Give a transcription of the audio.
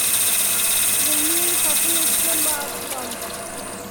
бульмени со сливочным маслом